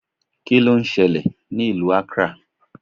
Kíló ń ṣẹlẹ̀ ní ìlú Accra?